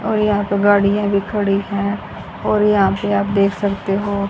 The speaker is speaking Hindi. और यहा पे गाड़ियां भी खड़ी है और यहां पे आप देख सकते हो।